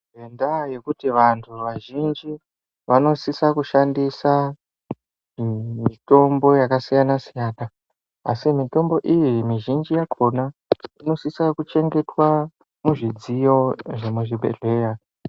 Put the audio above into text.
Nenda yekuti vantu vazhinji vanosisa kushandisa mutombo yaka siyana asi mitombo iyi mizhinji yakona inosisa kuchengetwa mu zvidziyo dze mu zvibhedhlera.